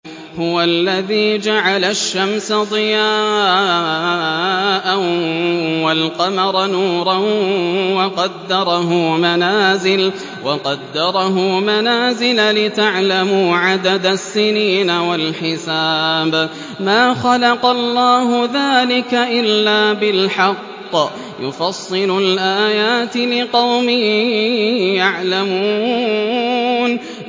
هُوَ الَّذِي جَعَلَ الشَّمْسَ ضِيَاءً وَالْقَمَرَ نُورًا وَقَدَّرَهُ مَنَازِلَ لِتَعْلَمُوا عَدَدَ السِّنِينَ وَالْحِسَابَ ۚ مَا خَلَقَ اللَّهُ ذَٰلِكَ إِلَّا بِالْحَقِّ ۚ يُفَصِّلُ الْآيَاتِ لِقَوْمٍ يَعْلَمُونَ